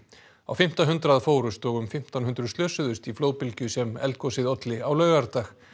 á fimmta hundrað fórust og um fimmtán hundruð slösuðust í flóðbylgju sem eldgosið olli á laugardag